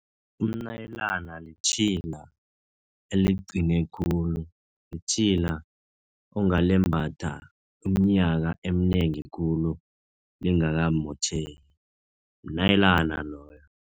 Umnayilana litjhila eliqine khulu. Litjhila ongalembatha uminyaka eminengi khulu lingakamotjheki, mnayilana loyo.